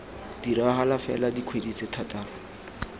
diragala fela dikgwedi tse thataro